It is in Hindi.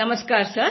नमस्कार सर